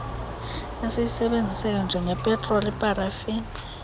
esiyisebenzisayo njengepetroli iparafini